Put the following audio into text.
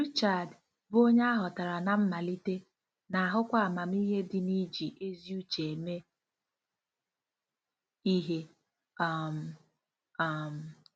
Richard, bụ́ onye a hotara ná mmalite, na-ahụkwa amamihe dị n'iji ezi uche eme ihe um. um